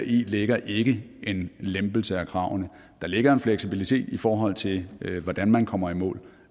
ligger ikke en lempelse af kravene der ligger en fleksibilitet i forhold til hvordan man kommer i mål